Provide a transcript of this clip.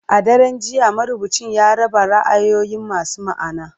A daren jiya, marubucin ya raba ra'ayoyi masu ma'ana.